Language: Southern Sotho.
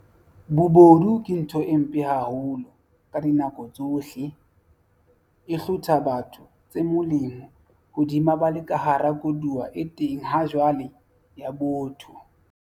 Bobodu ke ntho e mpe haholo ka dinako tsohle, e hlotha batho tse molemo hodima ba le ka hara koduwa e teng hajwale ya botho.